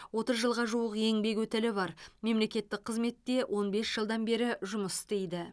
отыз жылға жуық еңбек өтілі бар мемлекеттік қызметте он бес жылдан бері жұмыс істейді